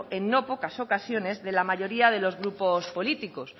en no pocas ocasiones de la mayoría de los grupos políticos